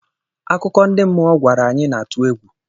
Akụkọ ndị mmụọ ọ gwara anyị na-atụ egwu.